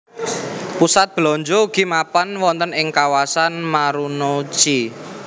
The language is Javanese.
Pusat belanja ugi mapan wonten ing kawasan Marunouchi